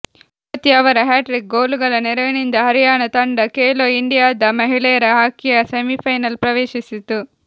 ಜ್ಯೋತಿ ಅವರ ಹ್ಯಾಟ್ರಿಕ್ ಗೋಲುಗಳ ನೆರವಿನಿಂದ ಹರಿಯಾಣ ತಂಡ ಖೇಲೊ ಇಂಡಿ ಯಾದ ಮಹಿಳೆಯರ ಹಾಕಿಯ ಸೆಮಿಫೈನಲ್ ಪ್ರವೇಶಿಸಿತು